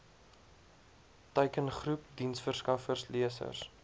teikengroep diensverskaffers lesers